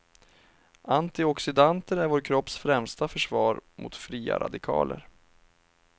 Antioxidanter är vår kropps främsta försvar mot fria radikaler.